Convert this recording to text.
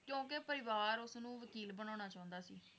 ਕਿਉਂਕਿ ਪਰਿਵਾਰ ਉਸਨੂੰ ਵਕੀਲ ਬਣਾਉਣਾ ਚਾਹੁੰਦਾ ਸੀ।